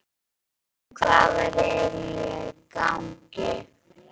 En hvað væri eiginlega í gangi?